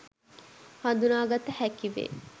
හදුනාගත හැකි වේ.